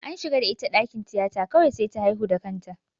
An shiga da ita dakin tiyata kawai sai ta haihu da kanta.